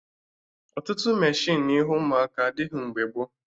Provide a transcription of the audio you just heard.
Ọtụtụ meshịnụ ihe ụmụaka adịghị mgbe gboo